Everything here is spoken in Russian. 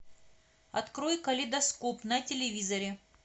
открой калейдоскоп на телевизоре